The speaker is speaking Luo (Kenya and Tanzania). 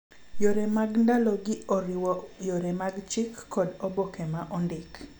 Yore mag ndalogi oriwo yore mag chik kod oboke ma ondik.